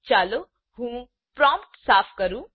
ચાલો હું પ્રોમ્પ્ટ સાફ કરું